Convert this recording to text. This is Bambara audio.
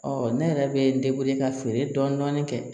ne yɛrɛ bɛ ka feere dɔɔnin kɛ